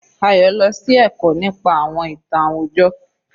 Ayo lọ sí ẹ̀kọ́ nípa àwọn ìtàn àwùjọ.